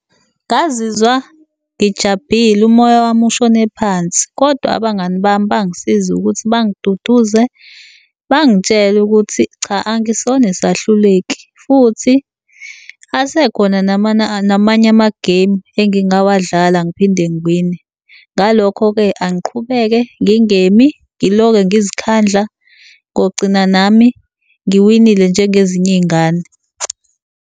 Ngazizwa ngijabhile, umoya wami ushone phansi. Kodwa abangani bami bangisiza ukuthi bangiduduze, bangitshele ukuthi cha angisona isahluleki futhi asekhona namanye ama-game engingawadlala ngiphinde ngiwine. Ngalokho-ke, angiqhubeke ngingemi ngiloke ngizikhandla, ngogcina nami ngiwinile njengezinye iy'ngane.